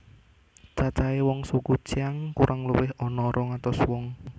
Cacahe wong suku Qiang kurang luwih ana rong atus wong